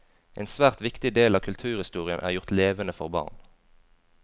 En svært viktig del av kulturhistorien er gjort levende for barn.